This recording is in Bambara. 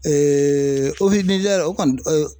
Eee ofisi nizɛri kɔni tɛ o